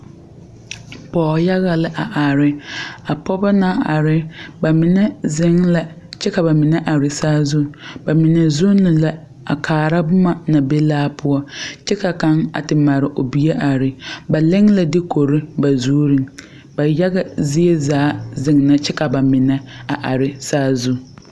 Pɔgɔ yaga la a are. A pɔgɔbɔ na are, ba mene zeŋ la kyɛ ka ba mene are saazu. Ba mene zunne la a kaara boma na be laa poʊ. Kyɛ ka kang a te mare o bie a are. Ba leŋ la dukore ba zureŋ. Ba yaga zie zaa zeŋe kyɛ ka ba mene a are saazu